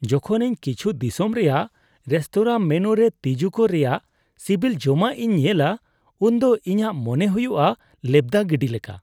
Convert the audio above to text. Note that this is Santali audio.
ᱡᱚᱠᱷᱚᱱ ᱤᱧ ᱠᱤᱪᱷᱩ ᱫᱤᱥᱚᱢ ᱨᱮᱭᱟᱜ ᱨᱮᱥᱛᱳᱨᱟ ᱢᱮᱱᱩᱨᱮ ᱛᱤᱡᱩ ᱠᱚ ᱨᱮᱭᱟᱜ ᱥᱤᱵᱤᱞ ᱡᱚᱢᱟᱜᱼᱤᱧ ᱧᱮᱞᱟ, ᱩᱱᱫᱚ ᱤᱧᱟᱹᱜ ᱢᱚᱱᱮ ᱦᱩᱭᱩᱜᱼᱟ ᱞᱮᱵᱫᱟ ᱜᱤᱰᱤ ᱞᱮᱠᱟ ᱾